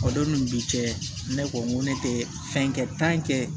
O don ni bi cɛ ne ko n ko ne tɛ fɛn kɛ